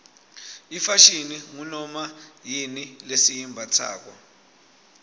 ifashini ngunoma yini lesiyimbatsako